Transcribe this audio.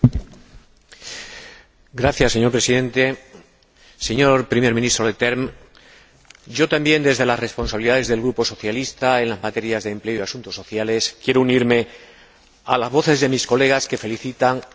Señor Presidente, señor Primer Ministro Leterme, yo también, desde las responsabilidades del Grupo Socialista en las materias de empleo y asuntos sociales, quiero unirme a las voces de mis colegas que felicitan a la Presidencia belga por estos seis meses.